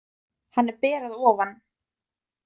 Hann er ber að ofan.